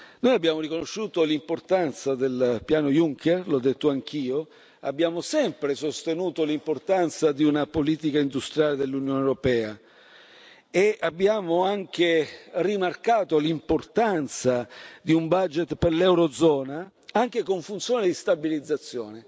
Noi abbiamo riconosciuto l'importanza del piano Juncker l'ho detto anch'io abbiamo sempre sostenuto l'importanza di una politica industriale dell'Unione europea, e abbiamo anche rimarcato l'importanza di un budget per l'Eurozona, anche con funzione di stabilizzazione.